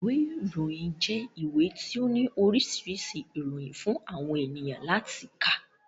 Ìwé ìròyìn jẹ́ ìwé tí ó ní oríṣiríṣi ìròyìn fún àwọn èèyàn láti kà